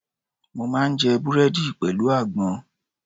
Mo máa ń jẹ Búrẹ́dì pẹ̀lú àgbọn.